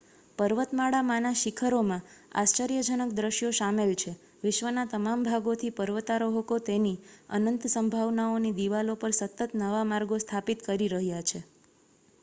પર્વતમાળામાંના શિખરોમાં આશ્ચર્યજનક દ્રશ્યો શામેલ છે વિશ્વના તમામ ભાગોથી પર્વતારોહકો તેની અનંત સંભાવનાઓની દિવાલો પર સતત નવાં માર્ગો સ્થાપિત કરી રહ્યા છે